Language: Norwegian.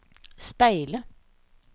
speile